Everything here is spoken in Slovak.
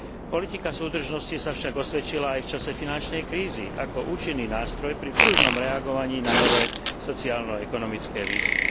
Politika súdržnosti sa však osvedčila aj v čase finančnej krízy ako účinný nástroj pri pružnom reagovaní na nové sociálno ekonomické výzvy.